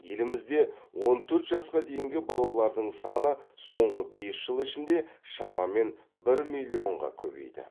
елімізде он төрт жасқа дейінгі балалардың саны соңғы бес жыл ішінде шамамен бір миллионға көбейді